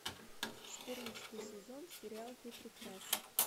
четырнадцатый сезон сериал ты прекрасен